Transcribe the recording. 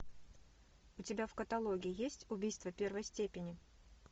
у тебя в каталоге есть убийство первой степени